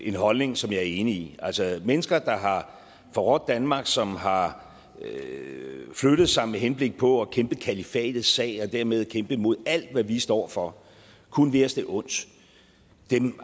en holdning som jeg er enig i altså mennesker der har forrådt danmark som har flyttet sig med henblik på at kæmpe kalifatets sag og dermed kæmpe mod alt hvad vi står over for og kun vil os det ondt